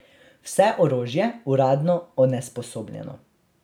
Vse orožje uradno onesposobljeno.